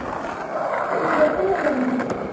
ସେ କଣ ଗୋଟେ ଲେହେଙ୍ଗା ପିନ୍ଧିବେ କି